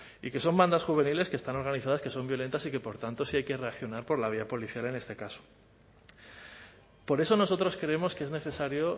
y que son bandas juveniles que están organizadas que son violentas y que por tanto sí hay que reaccionar por la vía policial en este caso por eso nosotros creemos que es necesario